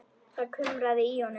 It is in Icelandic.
Það kumraði í honum.